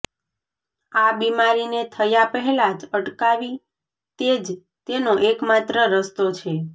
આ બીમારીને થયા પહેલા જ અટકાવી તે જ તેનો એક માત્ર રસ્તો છે